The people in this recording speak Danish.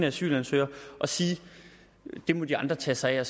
asylansøgere og sige det må de andre tage sig af og